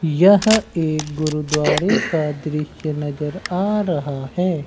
यह एक गुरुद्वारे का दृश्य नजर आ रहा है।